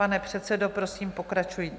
Pane předsedo, prosím pokračujte.